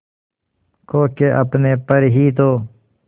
खो के अपने पर ही तो